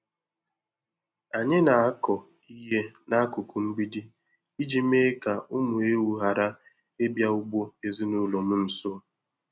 Anyị na-akọ ihe n'akụkụ mgbidi iji mee ka ụmụ ewu ghara ịbịa ugbo ezinụlọ m nso.